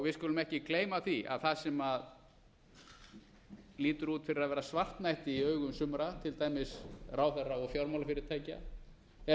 við skulum ekki gleyma því að það sem lítur út fyrir að vera svartnætti í augum sumra til dæmis ráðherra og fjármálafyrirtækja er